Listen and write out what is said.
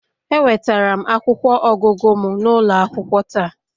Ewetara m akwụkwọ ọgụgụ m n'ụlọ akwụkwọ taa